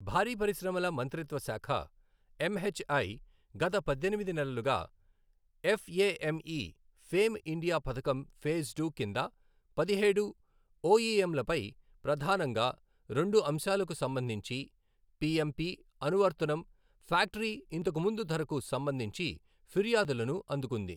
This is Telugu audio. భారీ పరిశ్రమల మంత్రిత్వ శాఖ ఎంహెచ్ఐ గత పద్దెనిమిది నెలలుగా ఎఫ్ఎఎంఇ ఫేమ్ ఇండియా పథకం ఫేజ్ టు కింద పదిహేడు ఒఇఎంలపై ప్రధానంగా రెండు అంశాలకు సంబంధించి పిఎంపి అనువర్తనం ఫ్యాక్టరీ ఇంతకు ముందు ధరకు సంబంధించి ఫిర్యాదులను అందుకుంది.